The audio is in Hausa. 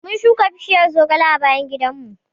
Mun shuka bishiyar zogale a bayan gidanmu.